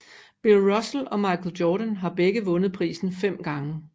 Bill Russell og Michael Jordan har begge vundet prisen fem gange